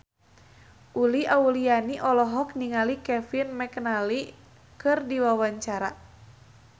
Uli Auliani olohok ningali Kevin McNally keur diwawancara